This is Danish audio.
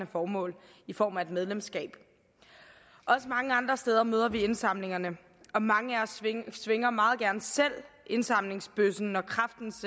formål i form af et medlemskab også mange andre steder møder vi indsamlerne og mange af os svinger meget gerne selv indsamlingsbøssen når kræftens